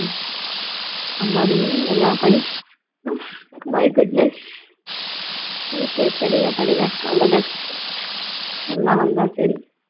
அம்மாடி படிச்சி~ my goodness okay படிங்க படிங்க all the best நல்லா வந்தா சரி